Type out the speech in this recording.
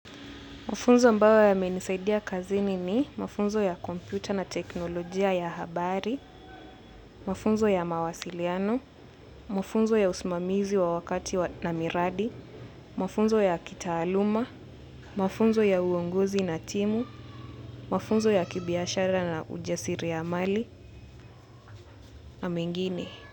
Mafunzo ambayo yamenisaidia kazini ni mafunzo ya kompyuta na teknolojia ya habari, mafunzo ya mawasiliano, mafunzo ya usimamizi wa wakati na miradi, mafunzo ya kitaaluma, mafunzo ya uongozi na timu, mafunzo ya kibiashara na ujasiri ya mali na mengine.